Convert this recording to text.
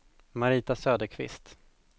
Marita Söderqvist